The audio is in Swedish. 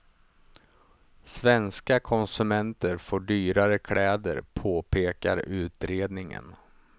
Svenska konsumenter får dyrare kläder, påpekar utredningen.